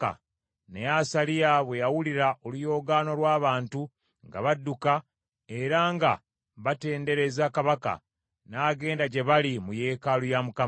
Naye Asaliya bwe yawulira oluyoogaano lw’abantu nga badduka era nga batendereza kabaka, n’agenda gye bali mu yeekaalu ya Mukama .